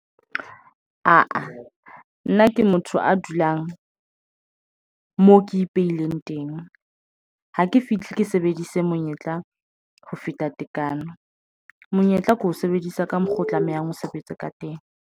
Aa nna ke motho a dulang moo ke ipehileng teng ha ke fihle ke sebedise monyetla ho feta tekano monyetla ke ho sebedisa ka mokgo o tlamehang ho sebetsa ka teng.